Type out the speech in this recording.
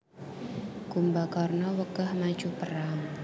Kumbakarna wegah maju perang